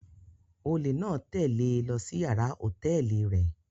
Ólé náa tẹle e lọ si yàrá hotẹẹli rẹ